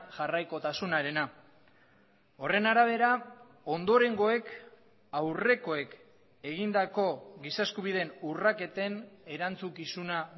jarraikotasunarena horren arabera ondorengoek aurrekoek egindako giza eskubideen urraketen erantzukizuna